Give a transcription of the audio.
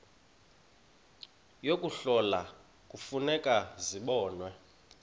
yokuhlola kufuneka zibonwe